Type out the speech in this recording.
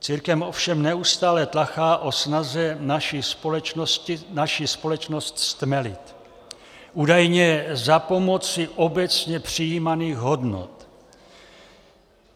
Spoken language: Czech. Církev ovšem neustále tlachá o snaze naši společnost stmelit, údajně za pomoci obecně přijímaných hodnot.